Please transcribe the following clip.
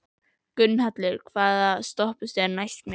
Gunnhallur, hvaða stoppistöð er næst mér?